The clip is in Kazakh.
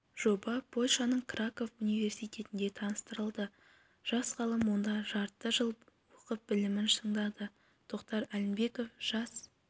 жоба польшаның краков университетінде таныстырылды жас ғалым онда жарты жыл оқып білімін шыңдады тоқтар әлімбеков жас